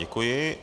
Děkuji.